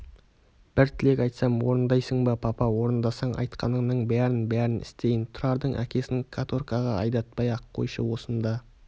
бір тілек айтсам орындайсың ба папа орындасаң айтқаныңның бәрін-бәрін істейін тұрардың әкесін каторгаға айдатпай-ақ қойшы осында